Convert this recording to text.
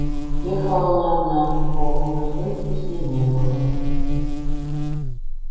ехала она одна никакого мужа и дочери с ней не было